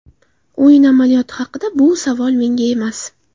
O‘yin amaliyoti haqida Bu savol menga emas.